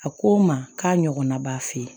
A ko n ma k'a ɲɔgɔnna b'a fe yen